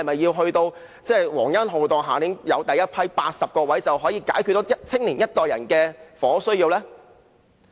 等到皇恩浩蕩，下一年有第一批80個宿位，是否便可解決年輕一代人的房屋需要呢？